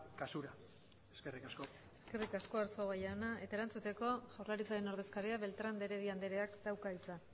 kasura eskerrik asko eskerrik asko arzuaga jauna eta erantzuteko jaurlaritzaren ordezkariak beltrán de heredia andreak dauka hitza